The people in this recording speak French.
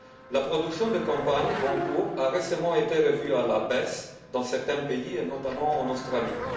La production de la campagne en cours a récemment été revue à la baisse dans certains pays, notamment en Australie.